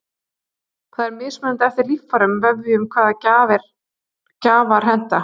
Það er mismunandi eftir líffærum og vefjum hvaða gjafar henta.